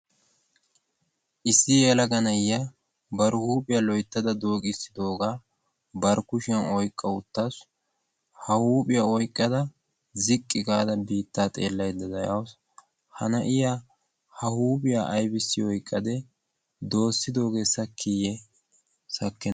issi yeelaga na'iya bar huuphiyaa loyttada doogissidoogaa barkkushiyan oyqqauttassu ha huuphiyaa oyqqada ziqqi gaada biittaa xeellay da dayausu ha na'iya ha huuphiyaa aibissi oyqqade doossidoogee sakkiiyye sakki?